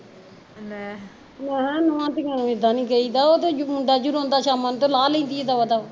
ਮੈਂ ਕਿਹਾਂ ਨੁਹਾ ਧੀਆ ਨੂੰ ਇੱਦਾਂ ਨੀ ਕਹੀਂ ਦਾ ਉਹ ਤਾਂ ਮੁੰਡਾ ਜੋ ਰੋਂਦਾ ਸ਼ਾਮਾ ਨੂੰ ਤੇ ਲਾਹ ਲੈਂਦੀ ਆ ਦਵਾ ਦਵ